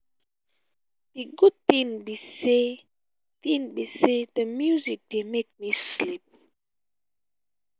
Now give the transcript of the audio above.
the good thing be say thing be say the music dey make me sleep